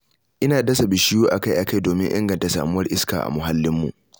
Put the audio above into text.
Ina dasa bishiyu a-kai-a-kai domin inganta samuwar iska a muhallinmu.